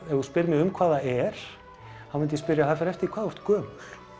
ef þú spyrð mig um hvað það er þá myndi ég spyrja það fer eftir hvað þú ert gömul